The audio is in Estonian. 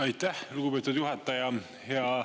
Aitäh, lugupeetud juhataja!